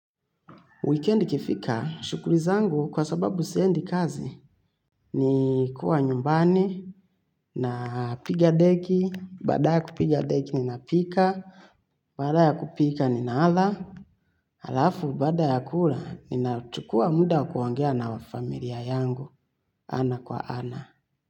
Weekend ikifika, shukuli zangu kwa sababu siendi kazi ni kuwa nyumbani napiga deki, baada ya kupiga deki ninapika, baada ya kupika nina ala, alafu baada ya kula ninachukua mda wa kuongea na familia yangu ana kwa ana.